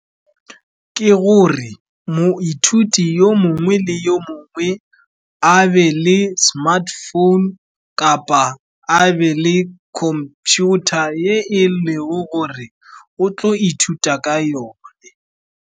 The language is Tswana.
Ke gore moithuti yo mongwe le yo mongwe a be le smartphone, kapa a be le computer, e leng gore o tlo ithuta ka yone.